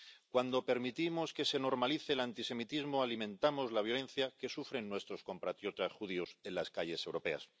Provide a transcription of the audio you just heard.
Cuando permitimos que se normalice el antisemitismo, alimentamos la violencia que sufren nuestros compatriotas judíos en las calles europeas.